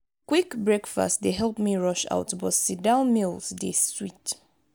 quick breakfast dey help me rush out but sit-down meals dey sweet.